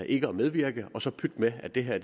ikke at medvirke og så pyt med at det her